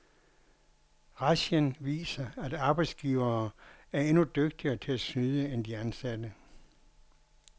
Razzian viser, at arbejdsgivere er endnu dygtigere til at snyde end de ansatte.